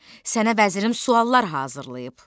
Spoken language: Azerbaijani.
Sənə vəzirim suallar hazırlayıb.